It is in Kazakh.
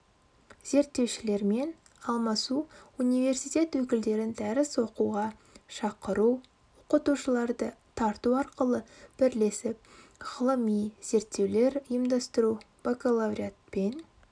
зерттеушілермен алмасу университет өкілдерін дәріс оқуға шақыру оқытушыларды тарту арқылы бірлесіп ғылыми-зерттеулер ұйымдастыру бакалавриат пен